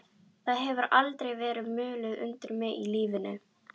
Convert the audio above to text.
Það hefur aldrei verið mulið undir mig í lífinu.